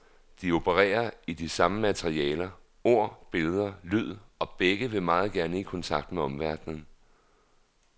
De opererer i de samme materialer, ord, billeder, lyd, og begge vil meget gerne i kontakt med omverdenen.